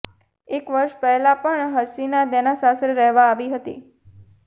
એક વર્ષ પહેલાં પણ હસીના તેના સાસરે રહેવા આવી હતી